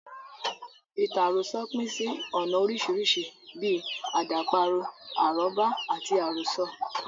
Ìtàn àròsọ pín sí ọ̀nà oríṣiríṣi bíi; àdàparo, arọ́bá, àti àròsọ.